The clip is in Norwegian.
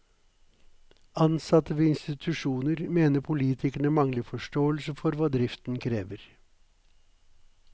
Ansatte ved institusjonen mener politikerne mangler forståelse for hva driften krever.